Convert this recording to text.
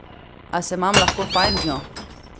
A se mam lahko fajn z njo?